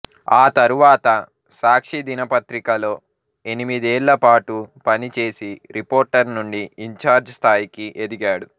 ఆ తరువాత సాక్షి దినపత్రికలో ఎనిమిదేళ్ళ పాటు పనిచేసి రిపోర్టర్ నుండి ఇన్ ఛార్జ్ స్థాయికి ఎదిగాడు